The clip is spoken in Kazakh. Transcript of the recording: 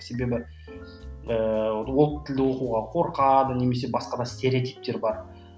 себебі ыыы ол тілді оқуға қорқады немесе басқа да стереотиптер бар